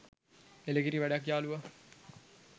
එළකිරි වැඩක් යාලුවා